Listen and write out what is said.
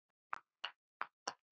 Það fáist lítið fyrir hann.